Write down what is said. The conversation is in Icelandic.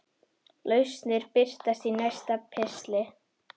Lausnir birtast í næsta pistli.